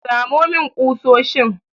Samo min ƙusoshin!